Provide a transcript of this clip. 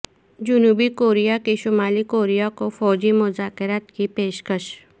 جنوبی کوریا کی شمالی کوریا کو فوجی مذاکرات کی پیشکش